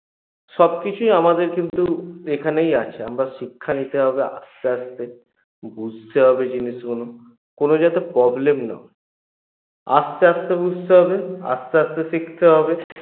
সবকিছু আমাদের কিন্তু এখানেই আছে আমরা শিক্ষা নিতে হবে আস্তে আস্তে বুঝতে হবে জিনিসগুলো কোনো যাতে problem না হয় আস্তে আস্তে বুঝতে হবে আস্তে আস্তে শিখতে হবে